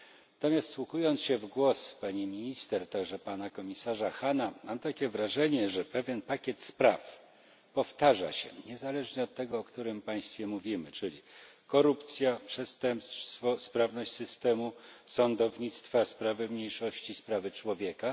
Natomiast wsłuchując się w głos pani minister, a także pana komisarza Hahna, mam takie wrażenie, że pewien pakiet spraw powtarza się niezależnie od tego, o którym państwie mówimy, czyli korupcja, przestępstwo, sprawność systemu sądownictwa, sprawy mniejszości, sprawy człowieka.